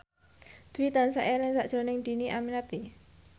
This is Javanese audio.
Dwi tansah eling sakjroning Dhini Aminarti